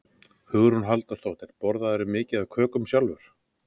Hugrún Halldórsdóttir: Borðarðu mikið af kökum sjálfur?